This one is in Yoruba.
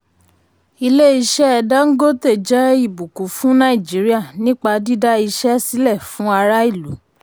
ilé-iṣẹ́ dangote jẹ́ ìbùkún fún nàìjíríà nípa dídá iṣẹ́ sílẹ̀ fún ará ìlú.